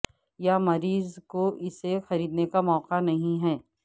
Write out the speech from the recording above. یا مریض کو اسے خریدنے کا موقع نہیں ہے